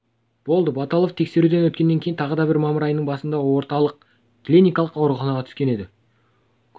болды баталов тексеруден өткеннен кейін тағы да мамыр айының басында орталық клиникалық ауруханаға түскен еді